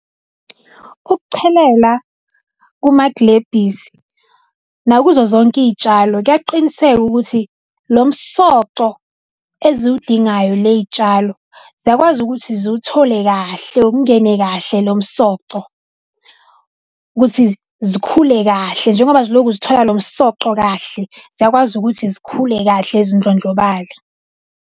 Ukuchelela kumaglebhisi nakuzo zonke iy'tshalo, kuyaqiniseka ukuthi lo msoco eziwudingayo ley'tshalo ziyakwazi ukuthi ziwuthole kahle, ungene kahle lo msoco ukuthi zikhule kahle njengoba zilokhu zithola lo msoco kahle. Ziyakwazi ukuthi zikhule kahle zindlondlobale.